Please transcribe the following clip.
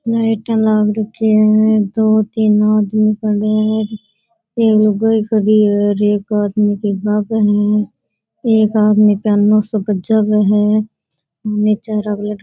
लाईटा लाग रखी है दो तीन आदमी खड़ा है एक लुगाई खड़ी है रेक में का लगे है एक आदमी --